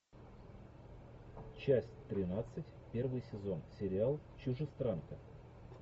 часть тринадцать первый сезон сериал чужестранка